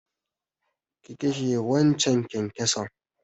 Ki kashe waccan kyankyason!